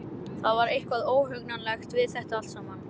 Það var eitthvað óhugnanlegt við þetta allt saman.